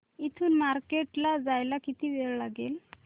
इथून मार्केट ला जायला किती वेळ लागेल